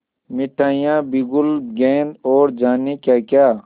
मिठाइयाँ बिगुल गेंद और जाने क्याक्या